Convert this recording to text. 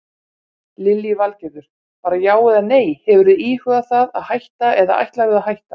Lillý Valgerður: Bara já eða nei, hefurðu íhugað það að hætta eða ætlarðu að hætta?